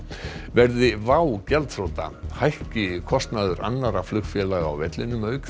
verði WOW gjaldþrota hækki kostnaður annarra flugfélaga á vellinum auk